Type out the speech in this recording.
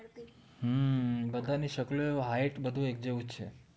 હમ્મ બધાની શકલો height બધું એક જેવું જ છે